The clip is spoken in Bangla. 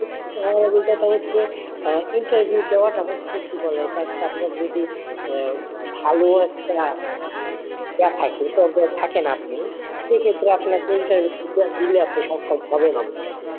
Interview দেওয়াটা হচ্ছে কি বলে ইটা একটা আপনার যদি আহ ভালো একটা থাকেন আপনি সেই ক্ষেত্রে আপনাকে interview দিলে আপনি সক্ষম হবেন অবশ্যই,